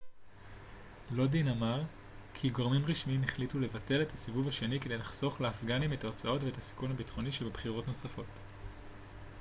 לודין אמר גם כי גורמים רשמיים החליטו לבטל את הסיבוב השני כדי לחסוך לאפגנים את ההוצאות ואת הסיכון הביטחוני שבבחירות נוספות